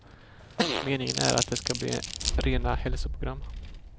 Meningen är att det ska bli rena hälsoprogram.